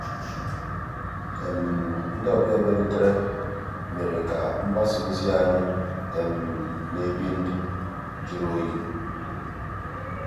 ndị́ ọ̀bịá um bìàrùtérè um mérè ká mgbàsá òzí ànyị́ ná-èbí ndụ́ jụ̀rụ́ òyì.